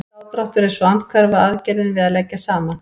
Frádráttur er svo andhverfa aðgerðin við að leggja saman.